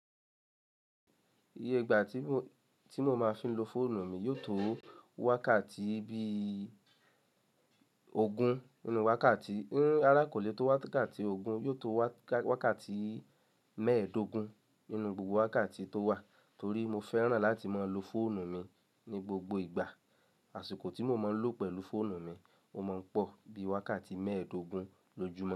Iye ìgbà tí mo máa fi ń lo fóònù mi yóò tó wákàtí bí ògún nínú wákàtí. Rará kò lè tó wákàtí ògún, yóò tó wákàtí mẹ́ẹ̀ẹ́dógún nínú gbogbo wákàtí tó wà torí mo fẹ́ràn láti máa lo fóònù mi ní gbogbo ìgbà. Àṣìkò tí mo máa ń lò pẹ̀lú fóònù mi, mo máa ń pọ̀ bí wákàtí mẹ́ẹ̀ẹ́dógún lójúmọ́